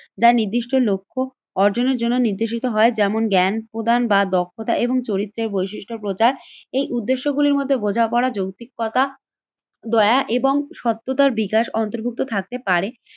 যা নির্দিষ্ট লক্ষ্য অর্জনের জন্য নির্দেশিত হয় যেমন জ্ঞান-প্রদান বা দক্ষতা এবং চরিত্রের বৈশিষ্ট্য প্রচার এই উদ্দেশ্য গুলির মধ্যে বোঝাপড়া, যৌতিকতা, দয়া এবং সত্যতার বিকাশ অন্তর্ভুক্ত থাকতে পারে।